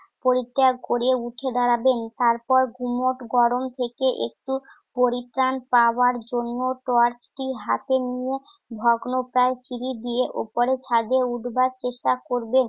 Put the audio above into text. পরিত্যাগ করিয়া উঠে দাঁড়াবেন। তারপর গুমোট গরম থেকে একটু পরিত্রাণ পাওয়ার জন্য টর্চটি হাতে নিয়ে ভগ্নপ্রায় সিঁড়ি দিয়ে উপরে ছাদে উঠবার চেষ্টা করবেন।